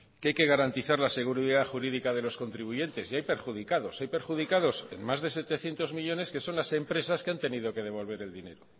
que hay que garantizar la seguridad jurídica de los contribuyentes y hay perjudicados hay perjudicados en más de setecientos millónes que son las empresas que han tenido que devolver el dinero